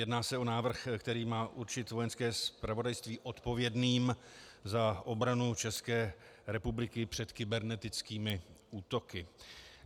Jedná se o návrh, který má určit Vojenské zpravodajství odpovědným za obranu České republiky před kybernetickými útoky.